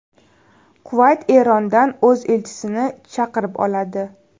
Kuvayt Erondan o‘z elchisini chaqirib oladi.